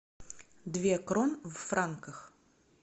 две крон в франках